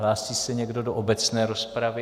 Hlásí se někdo do obecné rozpravy?